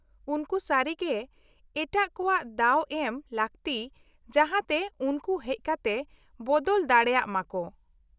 -ᱩᱱᱠᱩ ᱥᱟᱹᱨᱤᱜᱮ ᱮᱴᱟᱜ ᱠᱚᱣᱟᱜ ᱫᱟᱣ ᱮᱢ ᱞᱟᱹᱠᱛᱤ ᱡᱟᱦᱟᱛᱮ ᱩᱱᱠᱩ ᱦᱮᱡ ᱠᱟᱛᱮ ᱵᱚᱫᱚᱞ ᱫᱟᱲᱮᱭᱟᱜ ᱢᱟᱠᱚ ᱾